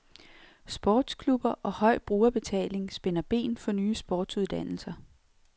Sportsklubber og høj brugerbetaling spænder ben for nye sportsuddannelser.